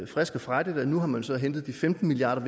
frisk og frejdigt at nu har man så hentet de femten milliard